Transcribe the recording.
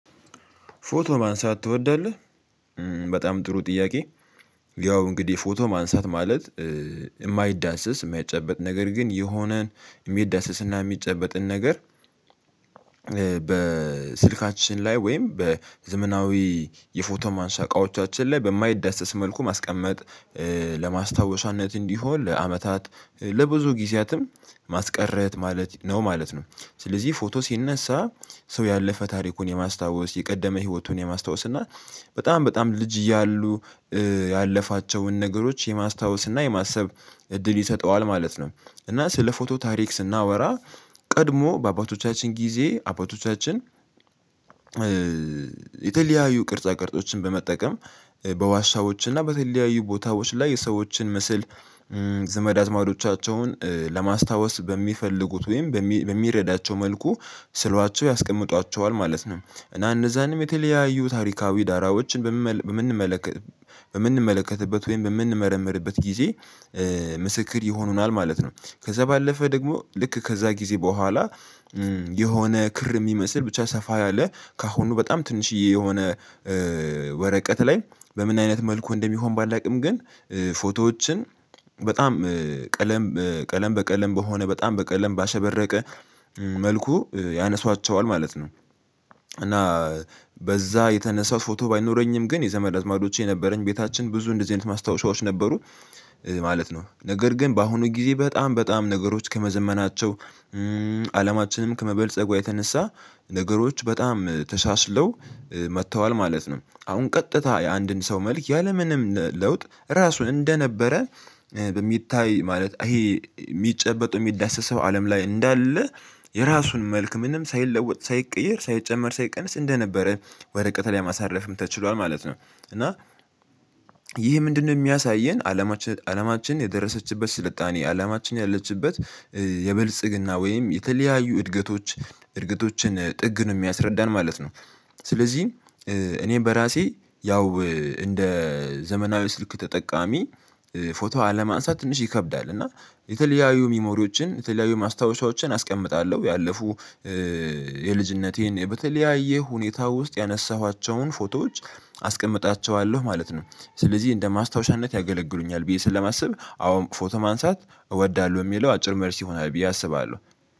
ፎቶ ማንሳት ትወዳለህ? በጣም ጥሩ ጥያቄ። ያው እንግዲህ ፎቶ ማንሳት ማለት የማይዳሰስ የማይጨበጥ ነገር ግን የሆነን የሚዳሰስና የሚጨበጥን ነገር። በስልካችን ላይ ወይም በዘመናዊ የፎቶ ማንሳ እቃዎቻችን ላይ በማይዳሰስ መልኩ ማስቀመጥ ለማስታወሻነት እንዲሆን ለአመታት ለብዙ ጊዜያትም ማስቀረት ማለት ነው ማለት ነው። ስለዚህ ፎቶ ሲነሳ ሰው ያለፈ ታሪኩን የማስታወስ የቀደመ ህይወቱን የማስታወስ እና በጣም በጣም ልጅ እያሉ ያለፋቸውን ነገሮች የማስታወስ እና የማሰብ እድል ይሰጠዋል ማለት ነው። እና ስለ ፎቶ ታሪክ ስናወራ። ቀድሞ በአባቶቻችን ጊዜ አባቶቻችን። የተለያዩ ቅርጻ ቅርጾችን በመጠቀም በዋሻዎች እና በተለያዩ ቦታዎች ላይ የሰዎችን ምስል። ዘመድ አዝማዶቻቸውን ለማስታወስ በሚፈልጉት ወይም በሚረዳቸው መልኩ ስሏቸው ያስቀምጧቸዋል ማለት ነው። እና እነዛንም የተለያዩ ታሪካዊ ዳራዎችን በምንመልከ በምንመለከትበት ወይም በምንመረምርበት ጊዜ ምስክር ይሆኑናል ማለት ነው። ከዛ ባለፈ ደግሞ ልክ ከዛ ጊዜ በኋላ። የሆነ ክር የሚመስል ብቻ ሰፋ ያለ ከአሁኑ በጣም ትንሽዬ የሆነ ወረቀት ላይ። በምን አይነት መልኩ እንደሚሆን ባላውቅም ግን። ፎቶዎችን በጣም ቀለም ቀለም በቀለም በሆነ በጣም በቀለም ባሸበረቀ መልኩ ያነሷቸዋል ማለት ነው። እና በዛ የተነሳው ፎቶ ባይኖረኝም ግን የዘመድ አዝማዶቼ የነበረኝ ቤታችን ብዙ እንደዚህ አይነት ማስታወሻዎች ነበሩ። ማለት ነው ነገር ግን በአሁኑ ጊዜ በጣም በጣም ነገሮች ከመዘመናቸው አላማችንም ከመበልጸጓ የተነሳ ነገሮች በጣም ተሳስለው መጥተዋል ማለት ነው። አሁን ቀጥታ የአንድን ሰው መልክ ያለምንም ለውጥ እራሱ እንደነበረ በሚታይ ማለት ይሄ የሚጨበጡ የሚዳሰሰው አለም ላይ እንዳለ። የራሱን መልክ ምንም ሳይለወጥ ሳይቀየር ሳይጨመር ሳይቀንስ እንደነበረ ወረቀት ላይ ማሳረፍም ተችሏል ማለት ነው። እና ይህ ምንድነው? የሚያሳየን አለማችን አለማችን የደረሰችበት ስልጣኔ አለማችን ያለችበት የብልጽግና ወይም የተለያዩ እድገቶች እድገቶችን ጥግን የሚያስረዳን ማለት ነው። ስለዚህ እኔ በራሴ ያው እንደ ዘመናዊ ስልክ ተጠቃሚ ፎቶ አለማንሳት ትንሽ ይከብዳል። እና የተለያዩ ሚሞሪዎችን የተለያዩ ማስታወሻዎችን አስቀምጣለሁ ያለፉ የልጅነቴን በተለያየ ሁኔታ ውስጥ ያነሳኋቸውን ፎቶዎች አስቀምጣቸዋለሁ ማለት ነው። ስለዚህ እንደ ማስታወሻነት ያገለግሉኛል ብዬ ስለማስብ አዎ ፎቶ ማንሳት እወዳለሁ የሚለው አጭር መልስ ይሆናል ብዬ አስባለሁ።